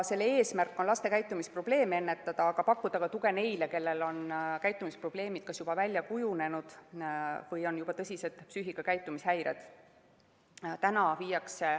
Selle eesmärk on laste käitumisprobleeme ennetada, aga pakkuda ka tuge neile, kellel on käitumisprobleemid kas juba välja kujunenud või kellel on tõsised psüühika‑ ja käitumishäired.